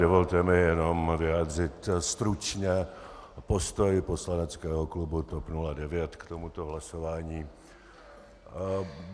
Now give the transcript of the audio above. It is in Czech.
Dovolte mi, jenom vyjádřit stručně postoj poslaneckého klubu TOP 09 k tomuto hlasování.